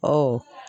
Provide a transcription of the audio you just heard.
Ɔ